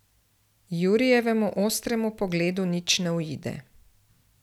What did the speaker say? Jurijevemu ostremu pogledu nič ne uide.